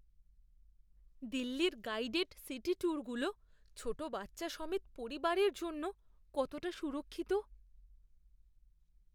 দিল্লির guided city ট্যুরগুলো ছোট বাচ্চা সমেত পরিবারের জন্য কতটা সুরক্ষিত?